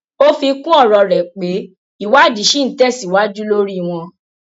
ó fi kún ọrọ rẹ pé ìwádìí ṣì ń tẹsíwájú lórí wọn